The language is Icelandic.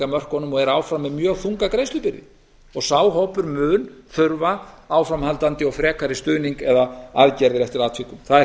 veðsetningarmörkunum og er áfram með mjög þunga greiðslubyrði sá hópur mun þurfa áframhaldandi og frekari stuðning eða aðgerðir eftir atvikum það er held